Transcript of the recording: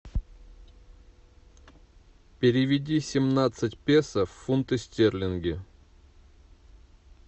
переведи семнадцать песо в фунты стерлинги